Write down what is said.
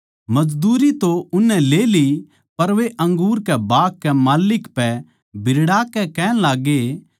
मजदूरी तो उननै ले ली पर वे अंगूर के बाग के माल्लिक पै बिरड़ाकै कहण लाग्गे